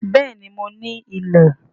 Béèni mo ní ilẹ̀